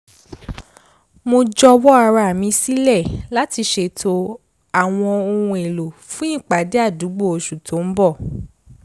mo jọ̀wọ́ ara mi sílẹ láti ṣètò àwọn ohun èlò fún ìpàdé àdúgbò oṣù tó ń bọ̀